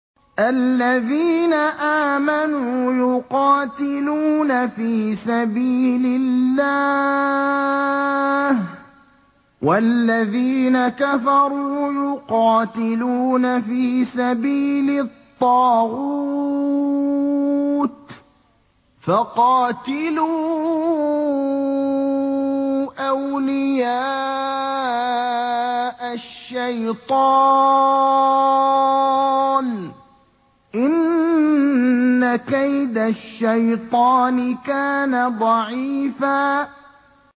الَّذِينَ آمَنُوا يُقَاتِلُونَ فِي سَبِيلِ اللَّهِ ۖ وَالَّذِينَ كَفَرُوا يُقَاتِلُونَ فِي سَبِيلِ الطَّاغُوتِ فَقَاتِلُوا أَوْلِيَاءَ الشَّيْطَانِ ۖ إِنَّ كَيْدَ الشَّيْطَانِ كَانَ ضَعِيفًا